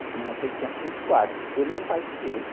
Tinha eu sei que tinha cinco quartos e tudo meu pai que fez.